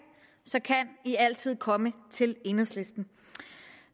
så kan de altid komme til enhedslisten